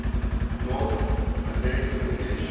north american english